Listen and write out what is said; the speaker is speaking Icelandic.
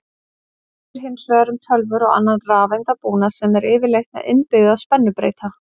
Annað gildir hins vegar um tölvur og annan rafeindabúnað sem er yfirleitt með innbyggða spennubreyta.